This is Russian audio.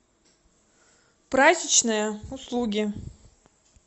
прачечная услуги